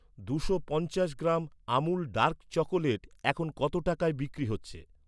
দুশো পঞ্চাশ gram Amul dark chocolate এখন কত টাকায় বিক্রি হচ্ছে?